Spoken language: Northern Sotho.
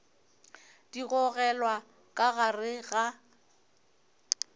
di gogelwa ka gare ga